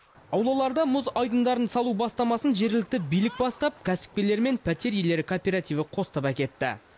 аулаларда мұз айдындарын салу бастамасын жергілікті билік бастап кәсіпкерлер мен пәтер иелері кооперативі қостап әкетті